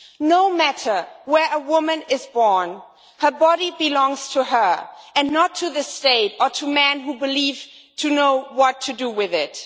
No matter where a woman is born, her body belongs to her and not to the state or to men who believe they know what to do with it.